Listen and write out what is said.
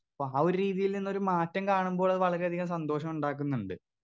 Speaker 2 അപ്പൊ ആ ഒരു രീതിയിൽ നിന്ന് ഒരു മാറ്റം കാണുമ്പോൾ അത് വളരെയധികം സന്തോഷം ഇണ്ടാക്കുന്നുണ്ട്.